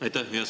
Aitäh!